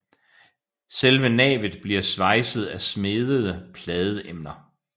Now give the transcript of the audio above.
Selve navet bliver svejset af smedede pladeemner